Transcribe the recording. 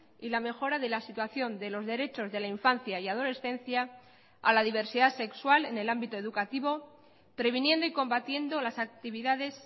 y la mejora de la situación de los derechos de la infancia y adolescencia a la diversidad sexual en el ámbito educativo previniendo y combatiendo las actividades